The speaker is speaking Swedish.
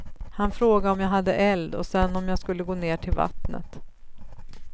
Han frågade om jag hade eld och sedan om jag skulle gå ner till vattnet.